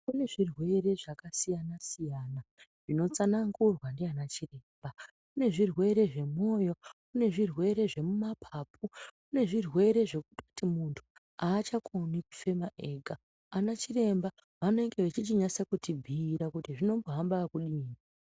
Kune zvirwere zvakasiyana-siyana zvinotsanangurwa ndiana chiremba. Kune zvirwere zvemumoyo, kune zvirwere zvemumapapu, kune zvirwere zvekutoti muntu haachakoni kufema ega. Anachiremba vanenge vechichinyase kuti bhuira kuti zvinombohamba ekudini.